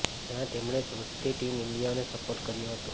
જ્યાં તેમણે જોશથી ટીમ ઈન્ડિયાને સપોર્ટ કર્યો હતો